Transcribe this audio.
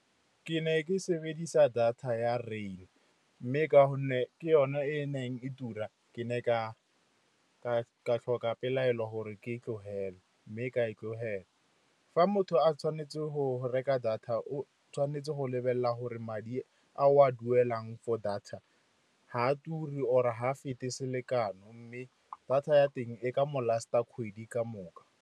Ke ne ke sebedisa data ya Rain, mme ka gonne ke yone e e neng e tura, ke ne ka tlhoka pelaelo gore ke e tlogele, mme ka e tlogela. Fa motho a tshwanetse go reka data, o tshwanetse go lebelela gore madi a o a duelang for data ga a ture or-e ga a fete selekanyo, mme data ya teng e ka mo last-a kgwedi ka moka.